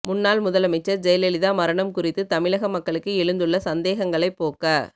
முன்னாள் முதல் அமைச்சர் ஜெயலலிதா மரணம் குறித்து தமிழக மக்களுக்கு எழுந்துள்ள சந்தேகங்களை போக்க